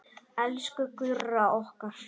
Elsku Gurra okkar.